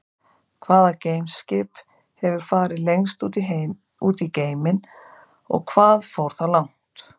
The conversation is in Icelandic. Hvaða geimskip hefur farið lengst út í geiminn og hvað fór það langt?